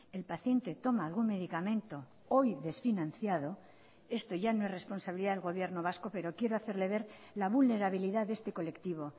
el paciente toma algún medicamento hoy desfinanciado esto ya no es responsabilidad del gobierno vasco pero quiero hacerle ver la vulnerabilidad de este colectivo